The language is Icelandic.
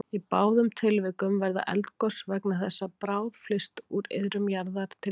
Í báðum tilvikum verða eldgos vegna þess að bráð flyst úr iðrum jarðar til yfirborðs.